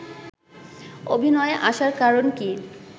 অভিনয়ে আসার কারণ কী